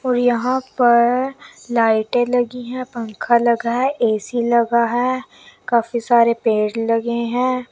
और यहां पर लाइटें लगी हैं पंखा लगा है ए_सी लगा है काफी सारे पेड़ लगे हैं।